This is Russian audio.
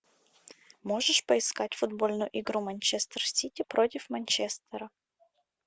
можешь поискать футбольную игру манчестер сити против манчестера